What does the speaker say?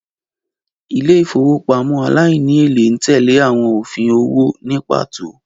Ilé ìfowópamọ́ aláìníèlé ń tẹ́lẹ̀ àwọn òfin owó ní pàtó